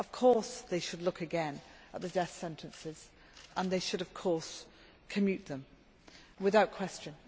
Of course, they should look again at the death sentences and they should of course commute them without question.